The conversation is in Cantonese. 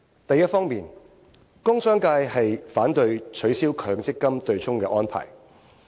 第一方面，工商界反對取消強積金對沖安排。